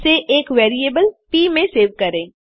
इसे एक variable P में सेव करें